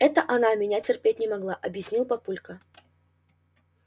это она меня терпеть не могла объяснил папулька